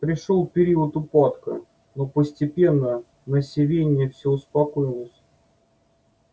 пришёл период упадка но постепенно на сивенне все успокоилось